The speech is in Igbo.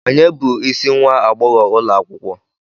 Ònye bụ isi nwa agbogho ulo akwukwo?